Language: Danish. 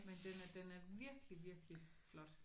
Men den er den er virkelig virkelig flot